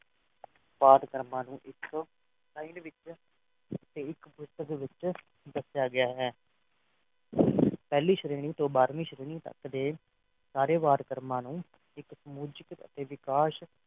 ਪਾਠ ਕਰਮਾਂ ਨੂ ਇਸ kind ਵਿੱਚ ਤੇ ਇੱਕ ਪੁਸਤਕ ਵਿੱਚ ਦੱਸਿਆ ਗਿਆ ਹੈ ਪਹਿਲੀ ਸ਼੍ਰੇਣੀ ਤੂੰ ਬਾਰਵੀ ਸ਼੍ਰੇਣੀ ਤਕ ਦੇ ਸਾਰੇ ਵਰਕਰਾਂ ਨੂੰ ਇਕ ਸਮੁਚਿਤ ਅਤੇ ਵਾਕਾਸ਼